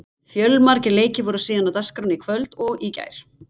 Fjölmargir leikir voru síðan á dagskránni í kvöld og í gær.